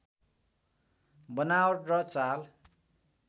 बनावट र चाल